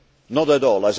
Not at all.